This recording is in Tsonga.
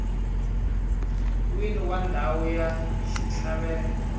wini wa ndhawu ya xitlhavelo